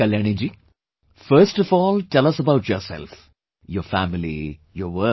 Kalyani ji, first of all tell us about yourself, your family, your work